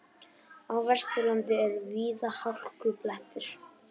Á Vesturlandi eru víða hálkublettir